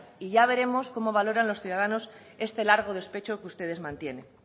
y ya veremos cómo valoran los ciudadanos este largo despecho que ustedes mantienen